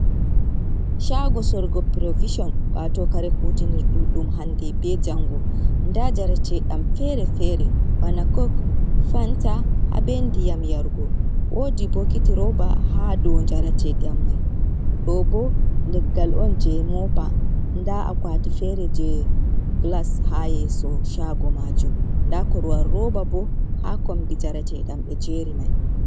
Shago sorgo provishon wato kare kutinir ɗum, ɗum hande be jango nda jaratedam fere-fere bana kok, fanta, ha be ndiyam yarugo, wodi bokiti roba ha dou jaratedam mai ɗo bo leggal on je mopa nda a kwati fere je glas ha yeeso shago majum nda korwal roba bo ha kombi jarateɗam ɓe jeri mai.